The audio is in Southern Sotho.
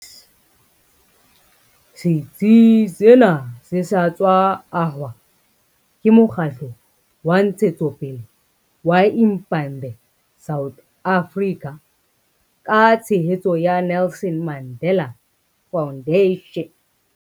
Setsi sena se sa tswa ahwa ke mokgatlo wa ntshetsopele wa Impande South Africa ka tshehetso ya Nelson Mandela Foundation.